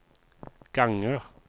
ganger